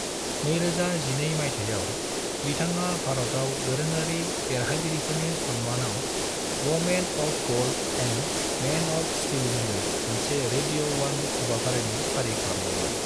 2012 माइथायाव, बिथाङा भारताव दारोङारि देरहागिरिफोरनि सन्मानाव women of gold and men of steel मङै मोनसे रेडियो वन हाबाफारिनि फारि खालामदोंमोन।